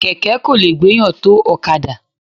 Kẹ̀kẹ́ kò lè gbéyàn tó ọ̀kadà.